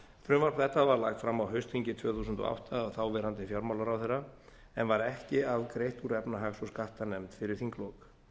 frumvarp þetta var lagt fram á haustþingi tvö þúsund og átta af þáverandi fjármálaráðherra en var ekki afgreitt úr efnahags og skattanefnd fyrir þinglok